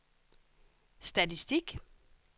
statistik